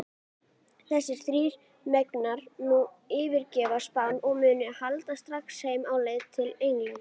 Þessir þrír mega nú yfirgefa Spán og munu halda strax heim á leið til Englands.